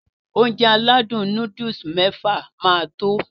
Ounjẹ aládùn nóódùsì mẹ́fà máa tó